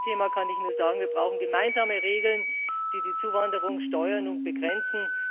Beim Asylthema kann ich nur sagen Wir brauchen gemeinsame Regeln, die die Zuwanderung steuern und begrenzen.